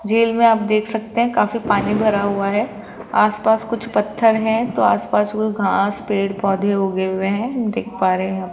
झील मे आप देख सकते है काफी पानी भरा हुआ है आस पास कुछ पत्थर है तो आस पास कोई घास पेड़ पौधे उगे हुए है देख पा रहे है यहां --